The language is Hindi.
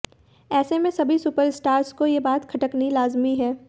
ऐसे में सभी सुपरस्टार्स को ये बात खटकनी लाजमी है